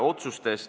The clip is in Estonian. Otsustest.